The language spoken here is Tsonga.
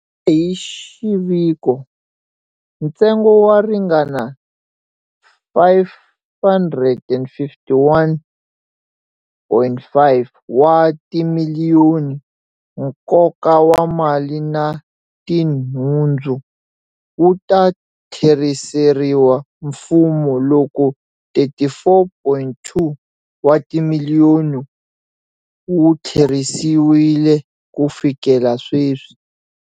Hi xiviko, ntsengo wo ringana R551.5 wa timiliyoni, nkoka wa mali na tinhundzu, wu ta tlheriseriwa mfumo, loko R34.2 wa timiliyoni wu tlherisiwile ku fikela sweswi.